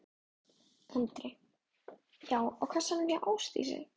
Andri: Já og á kassann hjá Ásdísi?